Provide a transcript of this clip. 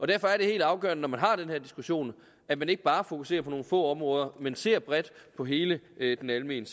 derfor er det helt afgørende når man har den her diskussion at man ikke bare fokuserer på nogle få områder men ser bredt på hele den almene